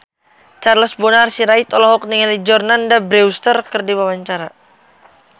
Charles Bonar Sirait olohok ningali Jordana Brewster keur diwawancara